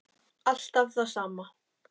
Alltaf það sama.